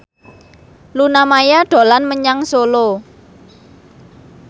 Luna Maya dolan menyang Solo